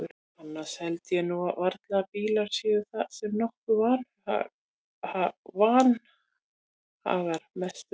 Annars held ég nú varla að bílar séu það sem okkur vanhagar mest um.